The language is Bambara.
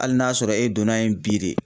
Hali n'a sɔrɔ e donna yen bi de.